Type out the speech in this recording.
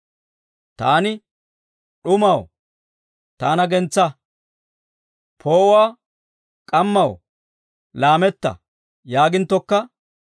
Taani, «D'umaw, taana gentsaa; poo'uwaa, k'ammaw laametta» yaaginttokka,